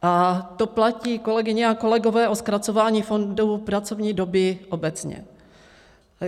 A to platí, kolegyně a kolegové, o zkracování fondu pracovní doby obecně.